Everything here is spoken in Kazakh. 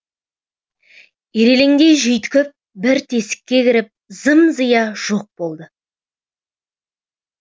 ирелеңдей жүйткіп бір тесікке кіріп зым зия жоқ болды